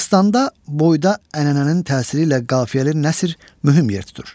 Dastanda boyda ənənənin təsiri ilə qafiyəli nəsr mühüm yer tutur.